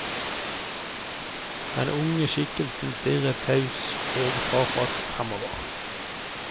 Den unge skikkelsen stirret taus og tafatt framover.